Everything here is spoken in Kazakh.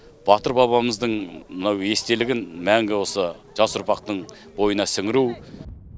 батыр бабамыздың мынау естелігін мәңгі осы жас ұрпақтың бойына сіңіру